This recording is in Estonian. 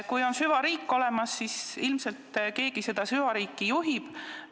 Kui süvariik on olemas, siis ilmselt keegi seda süvariiki juhib.